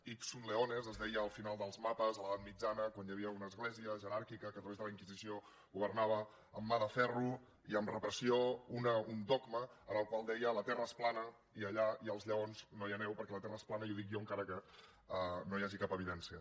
nes es deia al final dels mapes a l’edat mitjana quan hi havia una església jeràrquica que a través de la inquisició governava amb mà de ferro i amb repressió un dogma que deia la terra és plana i allà hi ha els lleons no hi aneu perquè la terra és plana i ho dic jo encara que no n’hi hagi cap evidència